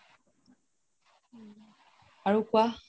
আৰু কোৱা